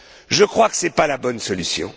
Je crois que ce n'est pas la bonne solution.